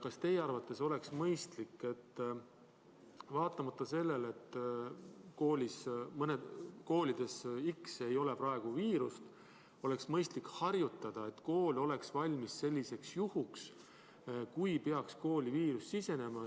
Kas teie arvates oleks mõistlik, et vaatamata sellele, et koolis X ei ole praegu viirust, oleks mõistlik harjutada, et kool oleks valmis juhuks, kui sinna peaks viirus sisenema?